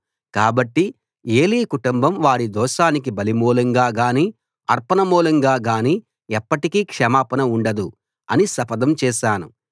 కాబట్టి ఏలీ కుటుంబం వారి దోషానికి బలిమూలంగా గానీ అర్పణ మూలంగా గానీ ఎప్పటికీ క్షమాపణ ఉండదు అని శపథం చేశాను